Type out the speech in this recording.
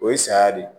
O ye saya de ye